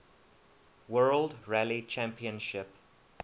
world rally championship